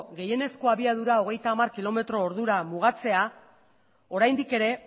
gehienezko abiadura hogeita hamar kilometro ordura mugatzea oraindik ere